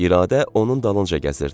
İradə onun dalınca gəzirdi.